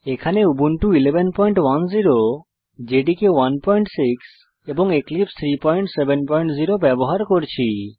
এখানে Ubuntu 110 JDK 16 এবং এক্লিপসে 370 ব্যবহার করছি